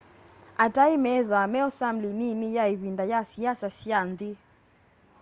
atai methwaa meo samli nini ya ivinda ya siasa sya nthi